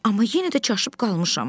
Amma yenə də çaşıb qalmışam.